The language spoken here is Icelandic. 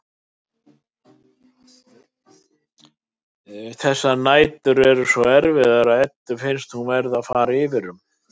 Þessar nætur eru svo erfiðar að Eddu finnst hún vera að fara yfir um.